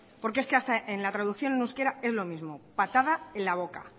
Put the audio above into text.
porque es que hasta en la traducción en euskera es lo mismo patada en la boca